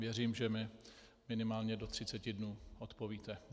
Věřím, že mi minimálně do 30 dnů odpovíte.